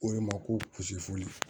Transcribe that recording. O de ma ko pusefu